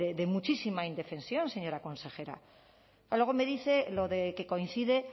de muchísima indefensión señora consejera luego me dice lo de que coincide